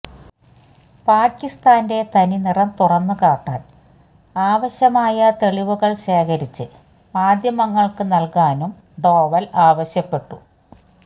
പാകിസ്ഥാന്റെ തനി നിറം തുറന്നു കാട്ടാന് ആവശ്യമായ തെളിവുകള് ശേഖരിച്ച് മാദ്ധ്യമങ്ങള്ക്ക് നല്കാനും ഡോവല് ആവശ്യപ്പെട്ടു